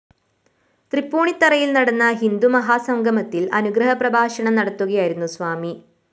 തൃപ്പൂണിത്തുറയില്‍ നടന്ന ഹിന്ദുമാഹാസംഗമത്തില്‍ അനുഗ്രഹ പ്രഭാഷണം നടത്തുകയായിരുന്നു സ്വാമി